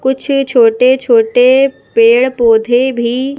कुछ छोटे छोटे पेड़ पौधे भी--